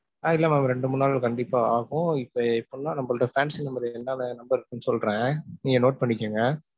ஆஹ் இல்ல mam ரெண்டு மூணு நாள் கண்டிப்பா ஆகும் இப்போ. இப்பலாம் நம்மள்ட்ட fancy number ரு, என்னென்ன number இருக்குன்னு சொல்றேன். நீங்க note பண்ணிக்கிங்க.